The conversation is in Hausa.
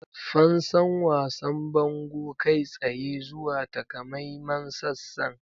Fansan wasan bango kai tsaye zuwa takamaiman sassan.